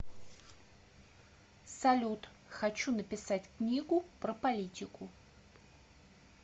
салют хочу написать книгу про политику